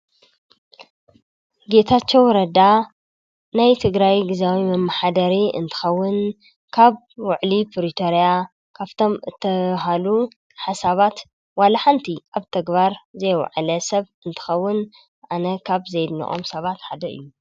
ጌታቸው ረዳ ናይ ትግራይ ግዝያዊ መማሓደሪ እንትኸውን ካብ ውዕሊ ፕሪቶርያ ካፍቶም ተበሃሉ ሓሰባት ዋላ ሓንቲ ኣብ ተግባር ዘይውዕለ ሰብ እንትከኸውን ኣነ ካብ ዘይድንቆም ሰባት ሓደ እዩ።